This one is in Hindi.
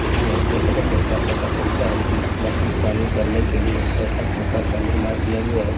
इसमें देखने से ऐसा पता चलता है कि मछली पालन करने के लिए ऐसा पुकार का निर्माण किया गया है।